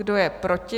Kdo je proti?